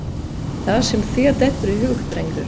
Það sem þér dettur í hug, drengur.